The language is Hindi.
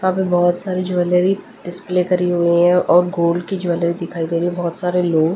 हम बहुत सारी ज्वेलरी डिस्प्ले करी हुई है और गोल्ड की ज्वेलरी दिखाई दे रही है बहुत सारे लोग--